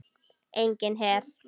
Enginn her.